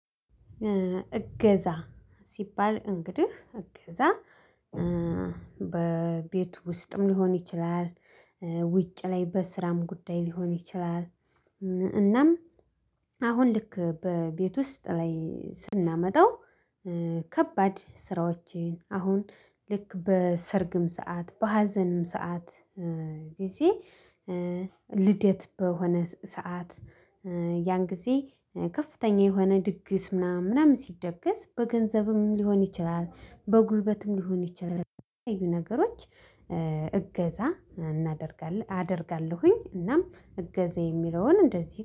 እገዛ ሲባል እንግዲህ እገዛ እእ በቤቱ ውስጥም ሊሆን ይችላል ኧ ውጭ ላይ በስራም ጉዳይ ሊሆን ይችላል። እናም አሁን ልክ በቤት ውስጥ ላይ ስናመጣው ኧ ከባድ ስራዎችህን አሁን ልክ በሰርግም ሰዓት በሀዘንም ሰዓት ኧ ጊዜ ልደት በሆነ ሰዓት ኧ ያን ጊዜ ከፍተኛ የሆነ ድግስ ምናምን ምናምን ሲደገስ በገንዘብም ሊሆን ይችላል በጉልበትም ሊሆን ይችላል በተለያዩ ነገሮች ኧ እገዛ እናደርጋለን አደርጋለሁኝ። እናም እገዛ የሚለውን እንደዚህ